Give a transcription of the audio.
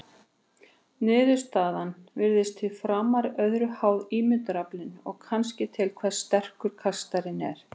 Niðurstaðan virðist því framar öðru háð ímyndunaraflinu og kannski því hversu sterkur kastarinn er.